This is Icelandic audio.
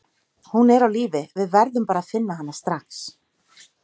Hún er á lífi, við verðum bara að finna hana strax.